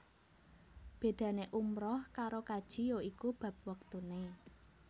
Bédané umrah karo kaji ya iku bab wektuné